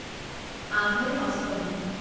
আহৈ অষ্টমী